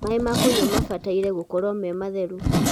maĩ ma kũnywa mabataire gũkorwo me matheru